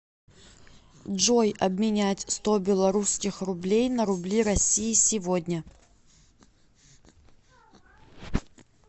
джой обменять сто белорусских рублей на рубли россии сегодня